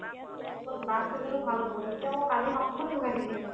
অ' last stage তো ভাল হৈ গ'ল যেতিয়া মই কালি হাতখন লগাই দি দিলে মানে